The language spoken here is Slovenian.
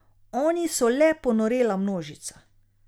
Oni so le ponorela množica.